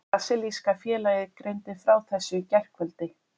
Brasilíska félagið greindi frá þessu í gærkvöld.